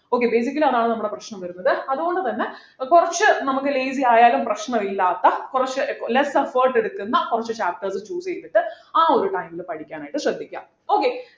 okay basically അതാണ് നമ്മുടെ പ്രശ്നം വരുന്നത് അതുകൊണ്ട് തന്നെ ഏർ കുറച്ചു നമുക്ക് lazy ആയാലും പ്രശ്നമില്ലാത്ത കുറച്ച് less effort എടുക്കുന്ന കുറച്ചു chapters choose ചെയ്തിട്ട് ആ ഒരു time ലു പഠിക്കാൻ ആയിട്ട് ശ്രദ്ധിക്ക okay